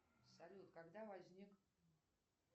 салют когда возник